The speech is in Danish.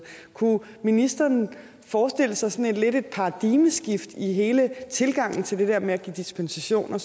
kunne ministeren forestille sig sådan lidt et paradigmeskift i hele tilgangen til det der med at give dispensationer